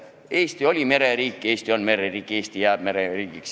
Eesti oli mereriik, Eesti on mereriik, Eesti jääb mereriigiks.